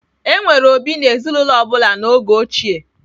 E nwere obi n'ezinụlọ ọ bụla n'oge ochie.